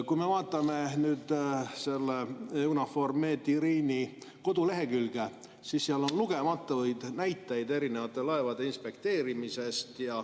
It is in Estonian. Kui me vaatame EUNAVFOR Med/Irini kodulehekülge, siis näeme seal lugematuid näiteid erinevate laevade inspekteerimisest.